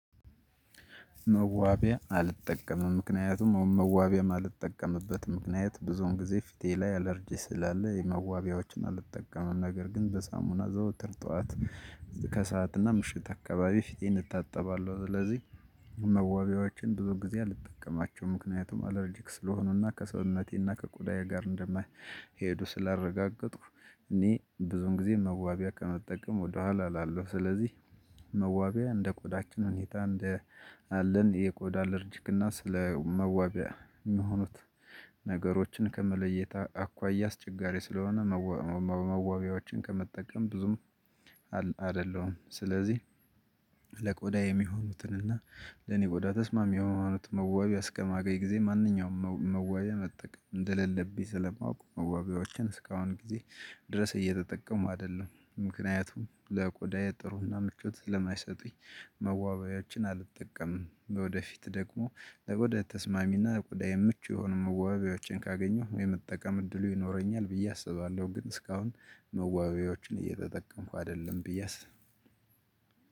መዋቢያ አልጠቀምም። ምክንያቱም መዋቢያም እማልጠቀምበትም ምክንያት ብዙውን ጊዜ ፊቴ ላይ አለርጂ ስላለ መዋቢያዎችን አልጠቀምም። ነገር ግን በሳሙና ዘውትር ጠዋት ከሰአትና ምሽት አካባቢ ፊቴን እታጠባለሁ። ስለዚህ- መዋቢያዎችን ብዙ ጊዜ አልጠቀማቸውም ምክንያቱም አላርጂክ ስለሆኑና ከሰውነቴና ከቆዳዬ ጋር እንደማይሄዱ ስላረጋገጥኩ እኔ ብዙን ጊዜ መዋቢያ ከመጠቀም ወደኋላ እላለው። ስለዚህ- መዋቢያ እንደ ቆዳችን ሁኔታ እንደ አለን የቆዳ አለርጅግና ስለመዋቢያ የሚሆኑት ነገሮችን ከመለየት አኳያ አስቸጋሪ ስለሆነ መዋቢያዎችን ከመጠቀም ብዙም- አይደለም። ስለዚህ ለቆዳ የሚሆኑትን እና- ለኔ ቆዳ ተስማሚ የሆኑት መዋቢያ እስከማገኝ ጊዜ ማንኛውም መዋቢያ መጠቀም እንደሌለብኝ ስለማውቅ መዋቢያዎችን እስካሁን ጊዜ ድረስ እየተጠቀምኩ አይደለም። ምክንያቱም ለቆዳ ጥሩና ምቾት ለማይሰጡኝ- መዋቢያዎችን አልጠቀምም። ወደፊት ደግሞ ለቆዳዬ ተስማሚና ለቆዳ የምቹ የሆኑ መዋቢያዎችን ካገኘሁ የመጠቀም እድሉ ይኖረኛል ብዬ አስባለሁ። ግን እስካሁን መዋቢያዎችን እየተጠቀምኩ አይደለም ብዬ አስባለሁ።